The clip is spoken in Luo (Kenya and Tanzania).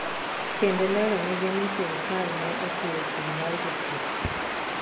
kendo leronegi ni sirikal ne osiro chung' mar jopur